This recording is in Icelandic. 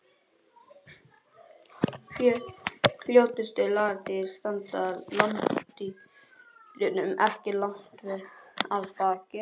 Fljótustu lagardýr standa landdýrunum ekki langt að baki.